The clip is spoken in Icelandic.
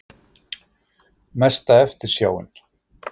Mesta eftirsjáin?